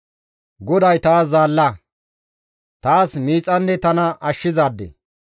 «GODAY taas zaalla, taas miixanne tana ashshizaade.